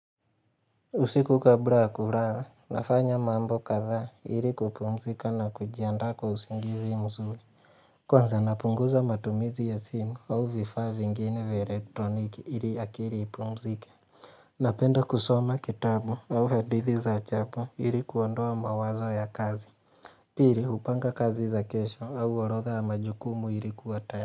Usiku kabla ya kulala nafanya mambo kadha ili kupumzika na kujiandaa kwa usingizi mzuri Kwanza napunguza matumizi ya simu au vifaa vingine vya elektroniki ili akili ipumzike Napenda kusoma kitabu au hadithi za ajabu ili kuondoa mawazo ya kazi Pili hupanga kazi za kesho au orodha ya majukumu ili kuwa tayari.